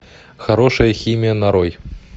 хорошая химия нарой